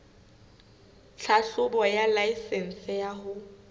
tlhahlobo ya laesense ya ho